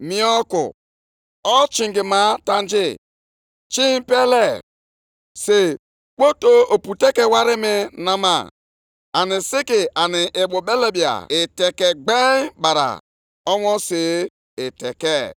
Jeenụ nʼelu ugwu, wedata osisi, jiri ya wuo ụlọnsọ ukwu ahụ. Mgbe ahụ, obi ga-atọ m ụtọ na ya, a ga-asọpụkwara m nʼebe ahụ.” Ọ bụ ihe Onyenwe anyị kwuru.